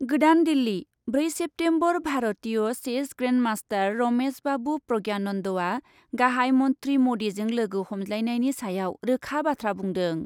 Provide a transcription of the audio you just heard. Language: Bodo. गोदान दिल्ली, ब्रै सेप्तेम्बर भारतीय चेस ग्रेन्डमास्टार रमेश बाबु प्रज्ञानन्दआ गाहाइ मन्थ्रि म'दिजों लोगो हमज्लायनायनि सायाव रोखा बाथ्रा बुंदों।